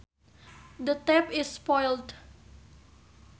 The tap is spoiled